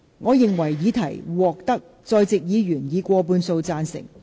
我認為議題獲得在席議員以過半數贊成。